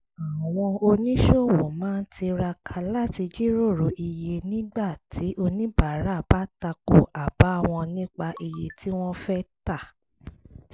àwọn oníṣòwò máa tiraka láti jíròrò iye nígbà tí oníbàárà bá tako àbá wọn nípa iye tí wọ́n fẹ́ tà